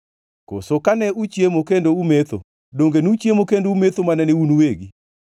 Koso kane uchiemo kendo umetho, donge nuchiemo kendo umetho mana ne un uwegi?